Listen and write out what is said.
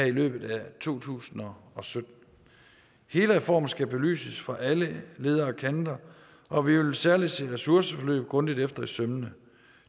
i løbet af to tusind og sytten hele reformen skal belyses fra alle leder og kanter og vi vil særlig se ressourceforløb grundigt efter i sømmene